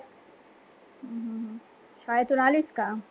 हम्म शाळेतून आलीस का?